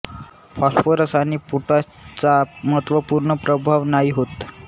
phosphorus आणि potash चा महत्त्वपूर्ण प्रभाव नाही होत